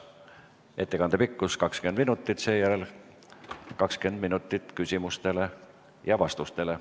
Ettekande pikkus 20 minutit, seejärel on 20 minutit küsimustele ja vastustele.